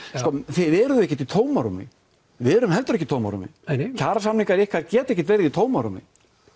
þið eruð ekkert í tómarúmi við erum heldur ekki í tómarúmi kjarasamningar ykkar geta ekkert verið í tómarúmi